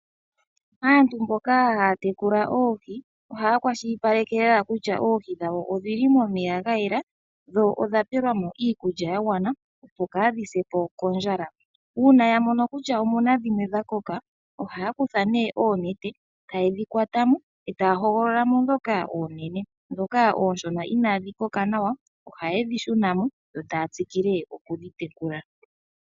Aantu mboka haa tekula oohi ohaa kwashilipaleke kutya oohi dgawo odhi li momeya ga gwana, dho odha pelwa mo iikulya ya gwana , opo kaa dhi se po kondjala. Uuna ya mono kutya omu na dhinwe dha koka, ohaa kutha ne oonete, taye dhi kwata mo, e taa hogolola mo ndhoka oonene. Ndhoka oonshona inaa dhi koka nawa, oha ye dhi shuna mo, yo ta ya tsikile oku dhi tekula.